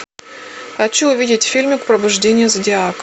хочу увидеть фильмик пробуждение зодиака